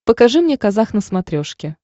покажи мне казах на смотрешке